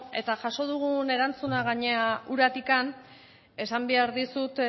eta jaso dugun erantzuna gainera uratik esan behar dizut